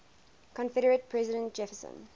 confederate president jefferson